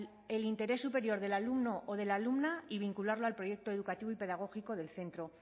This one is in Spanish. el interés superior del alumno o de la alumna y vincularlo al proyecto educativo y pedagógico del centro